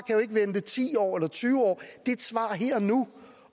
jo ikke vente ti år eller tyve år det er et svar her og nu